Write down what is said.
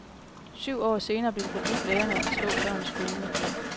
Syv år senere blev det forbudt lærere at slå børn i skolen.